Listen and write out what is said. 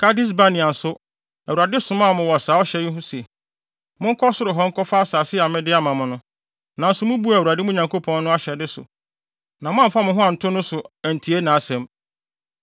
Kades-Barnea nso, Awurade somaa mo wɔ saa ɔhyɛ yi so se, “Monkɔ soro hɔ nkɔfa asase a mede ama mo no.” Nanso mubuu Awurade, mo Nyankopɔn no, ahyɛde so na moamfa mo ho anto no so antie nʼasɛm.